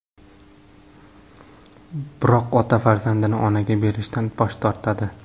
Biroq ota farzandini onaga berishdan bosh tortadi.